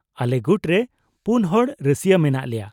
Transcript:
-ᱟᱞᱮ ᱜᱩᱴ ᱨᱮ ᱯᱩᱱ ᱦᱚᱲ ᱨᱟᱹᱥᱭᱟᱹ ᱢᱮᱱᱟᱜ ᱞᱮᱭᱟ ᱾